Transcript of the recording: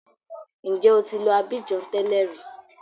Ǹjẹ́ o ti lọ Abidjan tẹ́lẹ̀ rí?